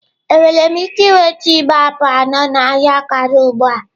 Enwere m ike nweta igbe apụl anọ na ahịa Karu ugbu a?